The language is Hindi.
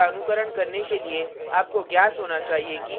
इस tutorial का अनुकरण करने के लिए आपको ज्ञात होना चाहिए कि